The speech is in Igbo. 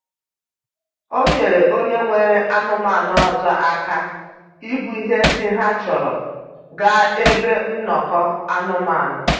O nyeere onye nwere anụmanụ ọzọ aka ibu ihe ndị ha chọrọ gaa ebe nnọkọ anụmanụ.